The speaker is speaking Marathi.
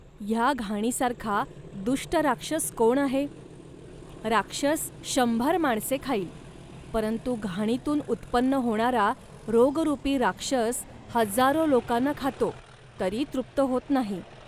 ह्या घाणीसारखा दुष्ट राक्षस कोण आहे. राक्षस शंभर माणसे खाईल, परंतु घाणीतून उत्पन्न होणारा रोगरूपी राक्षस हजारो लोकांना खातो, तरी तृप्त होत नाही